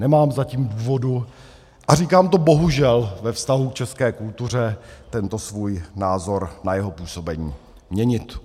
Nemám zatím důvod, a říkám to bohužel ve vztahu k české kultuře, tento svůj názor na jeho působení měnit.